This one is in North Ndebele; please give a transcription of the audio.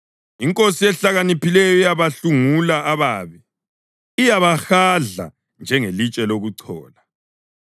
Inkosi ehlakaniphileyo iyabahlungula ababi; iyabahadla njengelitshe lokuchola.